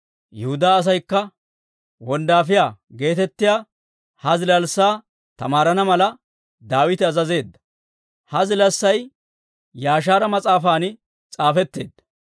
Yihudaa asaykka «Wonddaafiyaa» geetettiyaa ha zilaassaa tamaarana mala Daawite azazeedda; ha zilaassay Yaashaara mas'aafan s'aafetteedda.